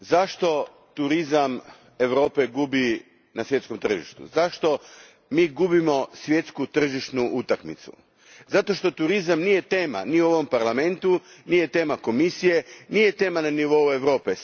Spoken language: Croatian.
Gospođo predsjednice, zašto turizam Europe gubi na svjetskom tržištu, zašto mi gubimo svjetsku tržišnu utakmicu? Zato što turizam nije tema ni u ovom Parlamentu, nije tema Komisije, nije tema na nivou Europe.